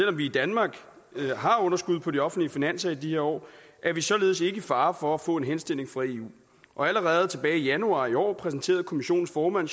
om vi i danmark har underskud på de offentlige finanser i disse år er vi således ikke i fare for at få en henstilling fra eu allerede tilbage i januar i år præsenterede kommissionens formand